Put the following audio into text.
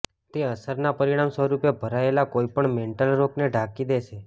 તે અસરના પરિણામ સ્વરૂપે ભરાયેલા કોઈપણ મેન્ટલ રોકને ઢાંકી દેશે